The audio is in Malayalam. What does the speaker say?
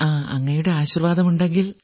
അങ്ങയുടെ ആശീർവ്വാദമുണ്ടെങ്കിൽ